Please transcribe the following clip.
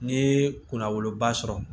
N'i ye kunna woloba sɔrɔ